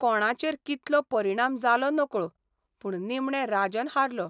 कोणाचेर कितलो परिणाम जालो नकळो, पूण निमणे राजन हारलो.